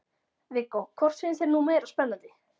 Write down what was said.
Viggó: Hvort finnst þér nú meira spennandi?